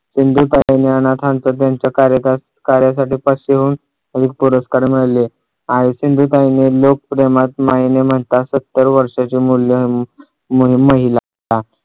सिंधुताईने अनाथांचा त्यांच्या कार्याचा कार्यासाठी पाचशेहून अधिक पुरस्कार मिळवले आहेत. सिंधुताईने लोक प्रेमाने माईने म्हणतात सत्तर वर्षाचे मूल्य मुली महिला